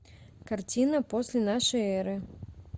картина после нашей эры